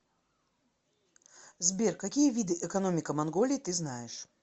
сбер какие виды экономика монголии ты знаешь